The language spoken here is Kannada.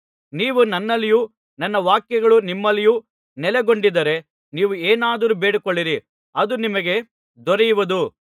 ನೀವು ನನ್ನಲ್ಲಿಯೂ ನನ್ನ ವಾಕ್ಯಗಳು ನಿಮ್ಮಲ್ಲಿಯೂ ನೆಲೆಗೊಂಡಿದ್ದರೆ ನೀವು ಏನಾದರೂ ಬೇಡಿಕೊಳ್ಳಿರಿ ಅದು ನಿಮಗೆ ದೊರೆಯುವುದು